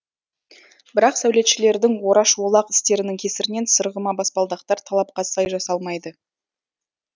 бірақ сәулетшілердің ораш олақ істерінің кесірінен сырғыма баспалдақтар талапқа сай жасалмайды